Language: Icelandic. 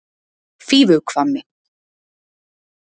Fífuhvammi